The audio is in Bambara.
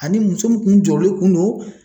Ani muso min kun jɔrɔlen kun no